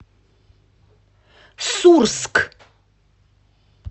сурск